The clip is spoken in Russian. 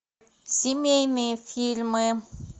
семейные фильмы